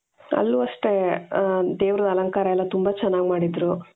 ಅಲ್ಲೂ ಅಷ್ಟೆ ದೇವರ ಅಲಂಕಾರ ಎಲ್ಲಾ ತುಂಬಾ ಚೆನ್ನಾಗಿ ಮಾಡಿದ್ರು.